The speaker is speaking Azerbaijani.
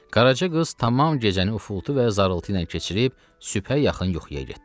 Qarajı qız tamam gecəni ufuldu və zarultu ilə keçirib sübhə yaxın yuxuya getdi.